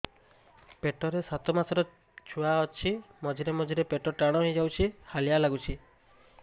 ପେଟ ରେ ସାତମାସର ଛୁଆ ଅଛି ମଝିରେ ମଝିରେ ପେଟ ଟାଣ ହେଇଯାଉଚି ହାଲିଆ ଲାଗୁଚି